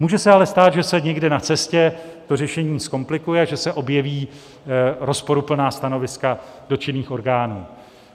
Může se ale stát, že se někde na cestě to řešení zkomplikuje, že se objeví rozporuplná stanoviska dotčených orgánů.